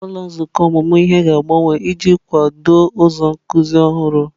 Ụlọ nzukọ ọmụmụ ihe ga-agbanwe iji kwado ụzọ nkuzi ọhụrụ.